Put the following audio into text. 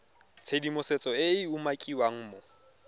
tshedimosetso e e umakiwang mo